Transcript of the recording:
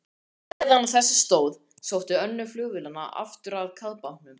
Meðan á þessu stóð, sótti önnur flugvélanna aftur að kafbátnum.